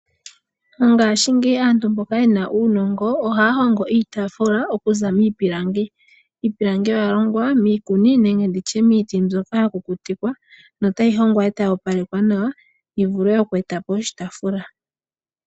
Mongashingeyi aantu mboka yena uunongo, ohaya hongo iitafula okuza miipilangi. Iipilangi oya longwa miiti mbyoka ya kukutikwa, notayi hongwa, e tayi opalekwa nawa, yivule oku etapo oshitaafula.